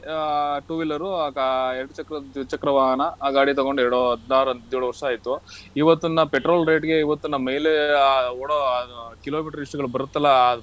ಆ two wheeler ಆ ಗಾ~ ಎರಡ್ ಚಕ್ರದ್ ದ್ವಿಚಕ್ರ ವಾಹನ ಆ ಗಾಡಿ ತಗೊಂಡ್ ಎರಡು ಹದ್ನಾರು ಹದ್ನೇಳು ವರ್ಷ ಆಯ್ತು. ಇವತ್ತಿನ petrol rate ಗೆ ಇವತ್ತಿನ mile~ ah odo kilometer list ಬರುತ್ತಲ್ಲ